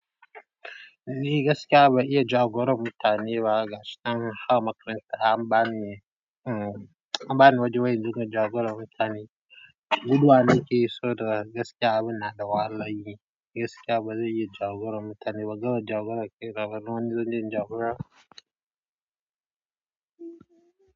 Ni gaskiya ban iya jagorar mutane ba gaskiya. A makaranta, an bani, an bani wajen wai dinga jagorar mutane. Guduwa nakeyi saboda gaskiya, abin na da wahalan yi. Gaskiya bazan iya jagorar mutane. Ba ban gama jagorar kai na ba, wani zan jagora.